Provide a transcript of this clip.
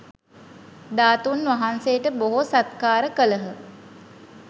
ධාතූන් වහන්සේට බොහෝ සත්කාර කළහ